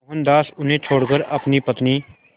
मोहनदास उन्हें छोड़कर अपनी पत्नी